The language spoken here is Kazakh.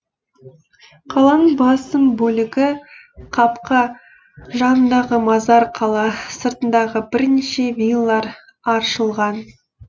қаланың басым бөлігі қапқа жанындағы мазар қала сыртындағы бірнеше виллар аршылған